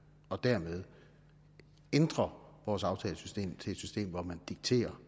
og dermed ændre vores aftalesystem til et system hvor man dikterer